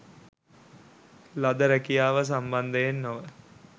ලද රැකියාව සම්බන්ධයෙන් නොව